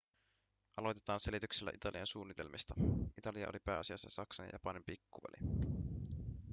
aloitetaan selityksellä italian suunnitelmista italia oli pääasiassa saksan ja japanin pikkuveli